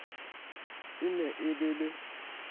e ne e le le